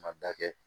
Ma da kɛ